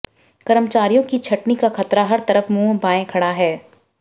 कर्मचारियों की छंटनी का खतरा हर तरफ मुंह बाये खड़ा है